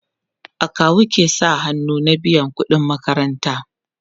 akawu ke sa hannu an biya ƙuɗin makaranta